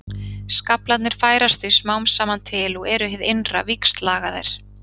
Skaflarnir færast því smám saman til og eru hið innra víxllagaðir.